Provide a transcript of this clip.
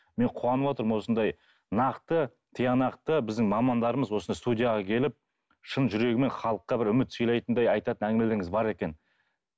мен қуанып отырмын осындай нақты тиянақты біздің мамандарымыз осында студияға келіп шын жүрегімен халыққа бір үміт сыйлайтындай айтатын әңгімелеріңіз бар екен